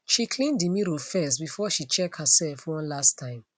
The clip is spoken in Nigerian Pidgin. she clean the mirror firstbefore she check herself one last time